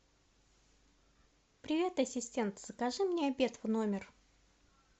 привет ассистент закажи мне обед в номер